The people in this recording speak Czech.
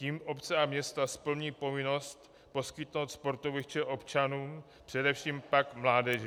Tím obce a města splní povinnost poskytnout sportoviště občanům, především pak mládeži.